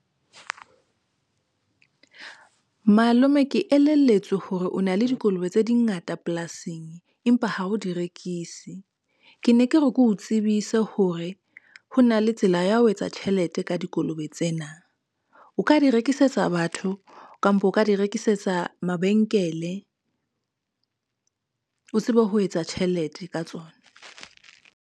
Malome ke elelletswe hore o na le dikolobe tse di ngata polasing, empa ha o di rekise. Ke ne ke re ke o tsebise ka hore ho na le tsela ya ho etsa tjhelete ka dikolobe tsena, o ka di rekisetsa batho kampo, o ka di rekisetsa mabenkele, o tsebe ho etsa tjhelete ka tsona.